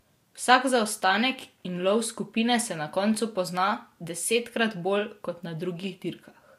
Vsak zaostanek in lov skupine se na koncu pozna desetkrat bolj kot na drugih dirkah.